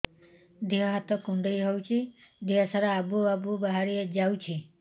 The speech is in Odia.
ଦିହ ହାତ କୁଣ୍ଡେଇ ହଉଛି ଦିହ ସାରା ଆବୁ ଆବୁ ବାହାରି ଯାଉଛି